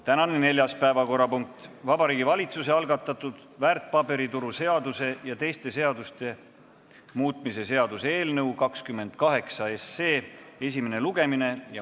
Tänane neljas päevakorrapunkt: Vabariigi Valitsuse algatatud väärtpaberituru seaduse ja teiste seaduste muutmise seaduse eelnõu 28 esimene lugemine.